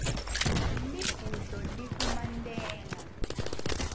libhudlo likumantenga